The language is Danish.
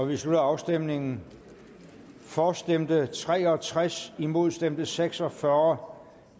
vi slutter afstemningen for stemte tre og tres imod stemte seks og fyrre